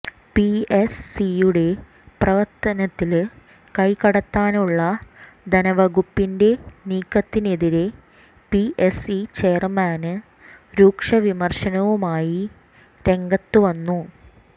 P S സിയുടെ പ്രവര്ത്തനത്തില് കൈകടത്താനുള്ള ധനവകുപ്പിന്റെ നീക്കത്തിനെതിരെ പി എസ് സി ചെയര്മാന് രൂക്ഷ വിമര്ശവുമായി രംഗത്തുവന്നു